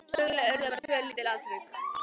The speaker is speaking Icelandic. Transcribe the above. Söguleg urðu bara tvö lítil atvik.